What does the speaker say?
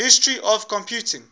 history of computing